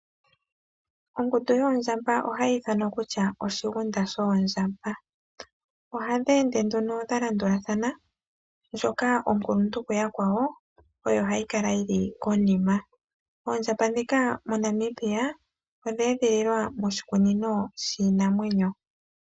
Ongundu yoondjamba ohayi ithanwa kutya oshigunda shoondjamba. Ohadhi ende nduno dha landulathana ndjoka onkuluntu kuyakwawo oyo hayi kala yili konima. Oondjamba ndhika moNamibia odhe edhililwa moshikunino shiinamwenyo.